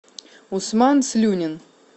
усман слюнин